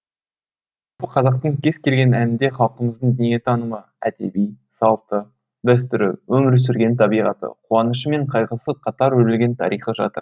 қазақтың кез келген әнінде халқымыздың дүниетанымы әдебі салты дәстүрі өмір сүрген табиғаты қуанышы мен қайғысы қатар өрілген тарихы жатыр